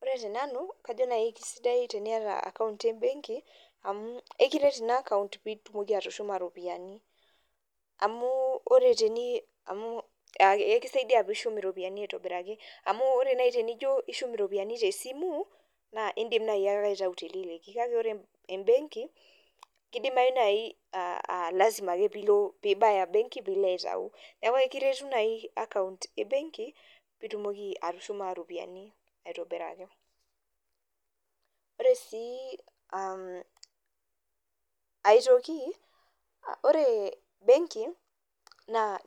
Ore tenanu naa kajo kisidai nai teniata account embenki amu ekiteret ina account pitumoki atushuma iropiyiani amu ore nai tenijo ishum iropiyiani tesimu naa indim nai ake aitayu teniyieu . Niaku ekiret nai account ebenki pitumoki atushuma iropiyiani aitobiraki .Ore sii aetoki ore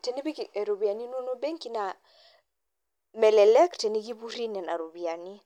tenipik iropiyiani inonok benki naa melelek tenikipuri nena ropiyiani